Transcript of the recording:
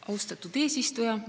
Austatud eesistuja!